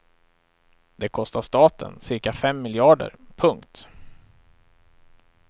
Det kostar staten cirka fem miljarder. punkt